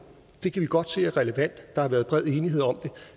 det kan vi godt se er relevant der har været bred enighed om